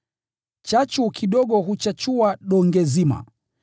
“Chachu kidogo huchachua donge zima.”